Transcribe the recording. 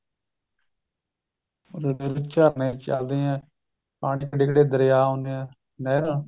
ਝਰਨੇ ਚੱਲਦੇ ਏ ਕਿੰਨੇ ਕਿੰਨੇ ਦਰਿਆ ਹੁੰਦੇ ਏ ਨਹਿਰਾਂ